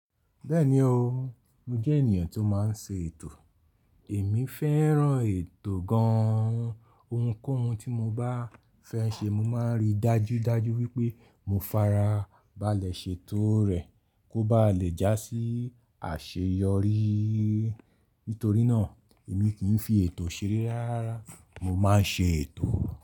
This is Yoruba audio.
Bẹ́ẹ̀ni o, mo jẹ́ ènìyàn tó máa ń ṣe ètò. Èmi fẹ́ràn ètò gan, ohunkóhun tí mo bá fẹ́ ṣe mo máa n ri dájú dájú wípé mo farabalẹ̀ ṣe tó rẹ̀ kó ba lè já sí àṣeyọrí. Nítorí náà èmi kì í fi ètò ṣeré rárá, mo má n ṣe ètò.